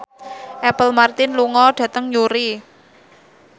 Apple Martin lunga dhateng Newry